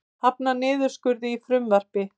Hafnar niðurskurði í frumvarpi